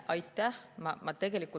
Aitäh!